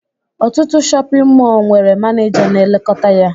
Ọtụtụ shọpịn mọọ nwere maneja na-elekọta ya